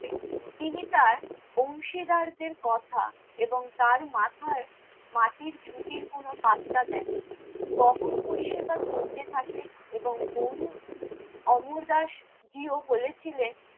তিনি তার অংশীদারদের কথা এবং তার মাথায় মাটির ঝুড়ি কোনো পাত্তা দেননি। বহন পরিষেবা চলতে থাকে এবং গুরু অমরদাসজীও বলেছিলেন,